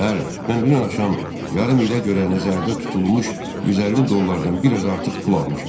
Bəli, mən dünən axşam yarım ilə görə nəzərdə tutulmuş 150 dollardan biraz artıq pul almışam.